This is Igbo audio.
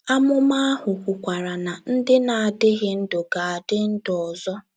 Amụma ahụ kwukwara na “ ndị na - adịghị ndụ ” ga - adị ndụ ọzọ.